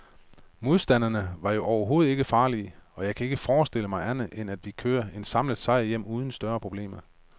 Modstanderne var jo overhovedet ikke farlige, og jeg kan ikke forestille mig andet, end at vi kører en samlet sejr hjem uden større problemer.